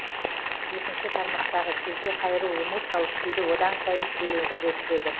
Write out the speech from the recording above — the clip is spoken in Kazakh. екінші тармақтағы келте қайыру эмоциялық күйді одан сайын шиеленістіре түседі